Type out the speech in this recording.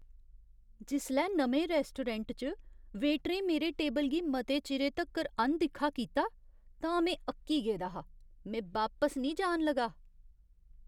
जिसलै नमें रैस्टोरैंट च वेटरें मेरे टेबल गी मते चिरे तक्कर अनदिक्खा कीता तां में अक्की गेदा हा। में बापस निं जान लगा।